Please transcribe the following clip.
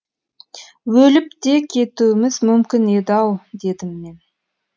өліп те кетуіміз мүмкін еді ау дедім мен